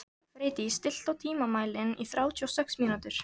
Freydís, stilltu tímamælinn á þrjátíu og sex mínútur.